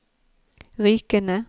Rykene